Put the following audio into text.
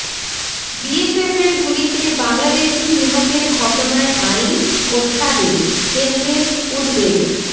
বিএসএফের গুলিতে বাংলাদেশি নিহতের ঘটনায় আইন ও সালিশ কেন্দ্রের উদ্বেগ